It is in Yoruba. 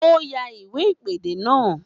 Ó yá iwe ìpèdè náà